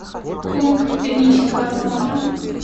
пункт технического осмотра